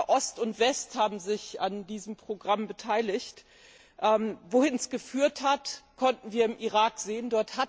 Ost und West haben sich an diesem Programm beteiligt. Wo es hingeführt hat, konnten wir im Irak sehen.